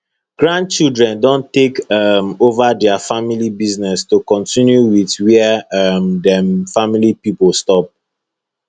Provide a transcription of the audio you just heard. grandchildren don take um over dia family business to continue for whia um dem family pipo stop